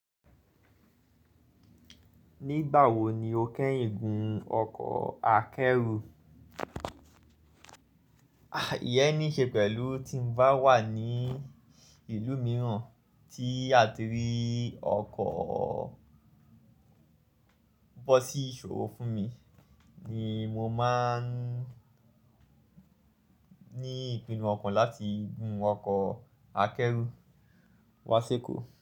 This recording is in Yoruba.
Nígbà wo ni o kẹ́yìn gùn ọkọ̀ akẹ́rù? Ìyẹn ní ṣe pẹ̀lú tí n bá wà ní ìlú mìíràn tí a ti rí ọkọ̀ bọ́ sí ìṣòro fún mi ni mo máa ń ní ìpinnu ọkàn láti gùn ọkọ̀ akẹ́rù wá sí èkó.